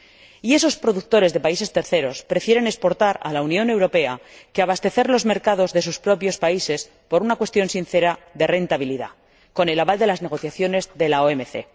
Y esos productores de países terceros prefieren exportar a la Unión Europea que abastecer los mercados de sus propios países por una cuestión de rentabilidad, con el aval de las negociaciones de la OMC.